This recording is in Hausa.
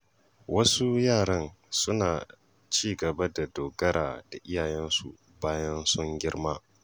Wasu yaran suna ci gaba da dogara da iyayensu bayan sun girma.